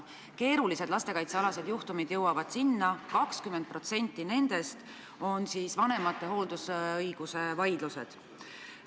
Sinna jõuavad keerulised lastekaitsealased juhtumid, 20% nendest on hooldusõigusvaidlused.